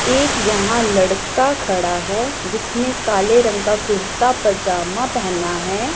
एक यहां लड़का खड़ा है जिसने काले रंग का कुर्ता पजामा पहेना है।